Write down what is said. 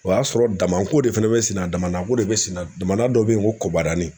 O y'a sɔrɔ damako de fana bɛ senna , damanada dɔ bɛ yen ko kobarani.